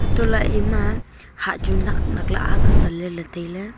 untohley ema nak nakley akga ngan leley tailey.